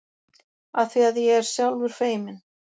Afþvíað ég er sjálfur feiminn.